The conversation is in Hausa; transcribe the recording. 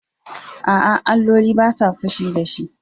A'a, alloli ba sa fushi da shi.